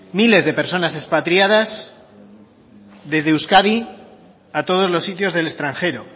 miles de personas expatriadas desde euskadi a todos los sitios del extranjero